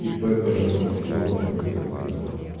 ип по ремонту телефонов компьютеров на дому